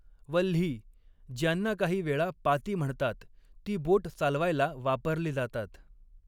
वल्ही, ज्यांना काही वेळा पाती म्हणतात, ती बोट चालवायला वापरली जातात.